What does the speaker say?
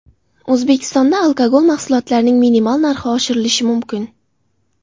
O‘zbekistonda alkogol mahsulotlarining minimal narxi oshirilishi mumkin.